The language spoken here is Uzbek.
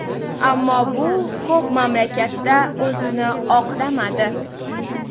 Ammo bu ko‘p mamlakatda o‘zini oqlamadi.